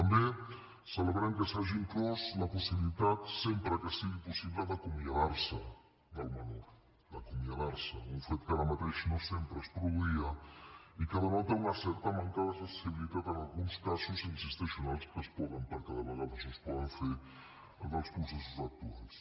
també celebrem que s’hi hagi inclòs la possibilitat sempre que sigui possible d’acomiadar se del menor d’acomiadar se’n un fet que ara mateix no sempre es produïa i que denota una certa manca de sensibilitat en alguns casos hi insisteixo en els que es pot perquè de vegades no es pot fer dels processos actuals